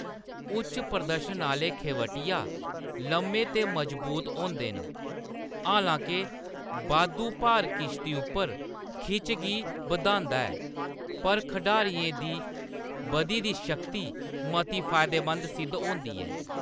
उच्च-प्रदर्शन आह्‌‌‌ले खेवटिया लम्मे ते मजबूत होंदे न : हालां-के बाद्धू भार किश्ती उप्पर खिच्च गी बधांदा ऐ, पर खढारियें दी बधी दी शक्ति मती फायदेमंद सिद्ध होंदी ऐ।